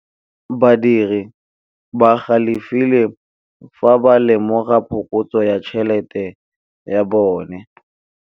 Badiri ba galefile fa ba lemoga phokotsô ya tšhelête ya bone.